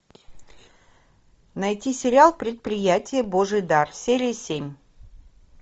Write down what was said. найти сериал предприятие божий дар серия семь